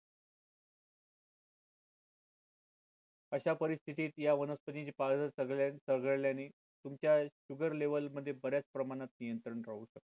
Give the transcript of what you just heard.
अशा परिस्थितीत या वनस्पतीची पाळे सगळ्यांनी चंगळल्याने तुमच्या sugar level मध्ये बर्याच प्रमाणात नियंत्रण राहू शकते